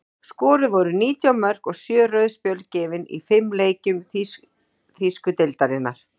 Skoruð voru nítján mörk og sjö rauð spjöld gefin í fimm leikjum þýsku deildarinnar.